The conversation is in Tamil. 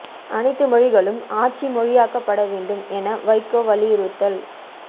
அனைத்து மொழிகளும் ஆட்சி மொழியாக்கப்பட வேண்டும் என வைகோ வலியுறுத்தல்